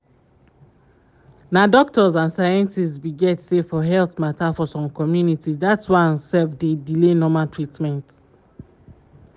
na doctors and scientist be get say for health mata for some community that one self dey delay normal treatment